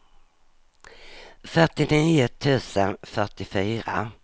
fyrtionio tusen fyrtiofyra